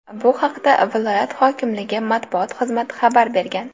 Bu haqda viloyat hokimligi matbuot xizmati xabar bergan .